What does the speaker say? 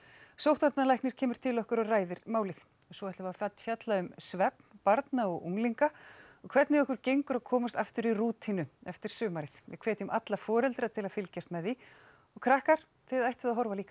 sóttvarnalæknir kemur til okkar og ræðir málið og svo ætlum við að fjalla um svefn barna og unglinga og hvernig okkur gengur að komast aftur í rútínu eftir sumarið við hvetjum alla foreldra til að fylgjast með því og krakkar þið ættuð að horfa líka